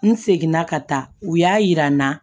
N seginna ka taa u y'a yira n na